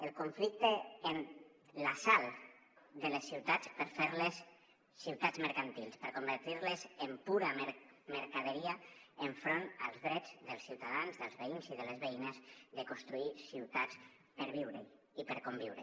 el conflicte en l’assalt de les ciutats per fer les ciutats mercantils per convertir les en pura mercaderia enfront dels drets dels ciutadans dels veïns i de les veïnes de construir ciutats per viure hi i per conviure